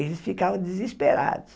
Eles ficavam desesperados.